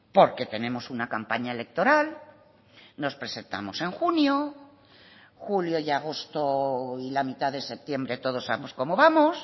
porque tenemos una campaña electoral nos presentamos en junio julio y agosto y la mitad de septiembre todos sabemos cómo vamos